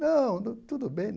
Não, tudo bem.